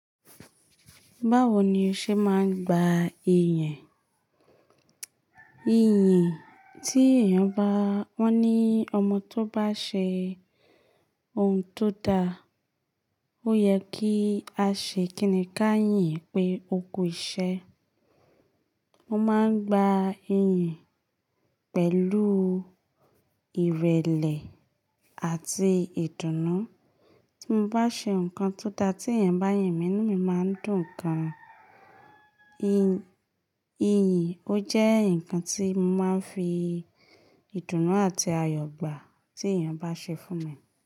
Báwo ni o ṣe máa ń gba iyìnyin? Iyìnyin tí èèyàn bá, wọ́n ní ọmọ tó bá ṣe oun tó da, ó yẹ kí a ṣe kìíní ká yìn pé oku iṣẹ́. Wọ́n máa ń gba iyìnyin pẹ̀lú ìrẹ̀lẹ̀ àti ìdùnnú. Tí mo bá ṣe nǹkan tó da tí èèyàn bá yìn mí ní, mí máa ń dùn gan-an. Iyìnyin ó jẹ́ ǹkan tí mo máa ń fi ìdùnnú àti ayọ̀ gbà tí èèyàn bá ṣe fún mi.